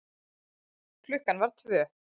Klukkan var tvö.